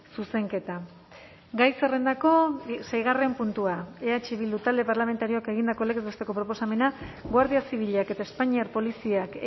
zuzenketa gai zerrendako seigarren puntua eh bildu talde parlamentarioak egindako legez besteko proposamena guardia zibilak eta espainiar poliziak